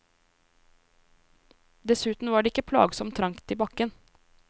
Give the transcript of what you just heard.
Dessuten var det ikke plagsomt trangt i bakken.